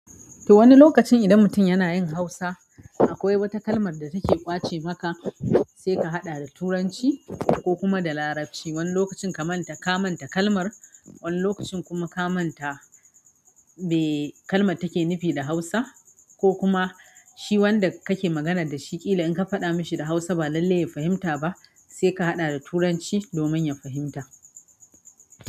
To wani lokaci idan mutum yana yin hausa akwai wata kalmar da take ƙwace maka sai ka haɗa da turanci ko kuma da larabci wani lokacin kamanta kalmar wani lokacin kuma kamanta me kalmar take nufi d hausa ko kuma shi wanda kake maganar dashi ƙila inka faɗa mishi kalmar da hausa ba lallai ya fahimta ba saika haɗa da turanci domin ya fahimta.